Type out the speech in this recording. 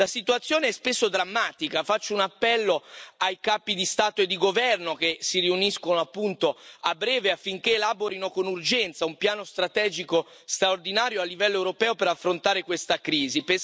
La situazione è spesso drammatica e faccio un appello ai capi di Stato e di governo, che si riuniscono a breve, affinché elaborino con urgenza un piano strategico straordinario a livello europeo per affrontare questa crisi.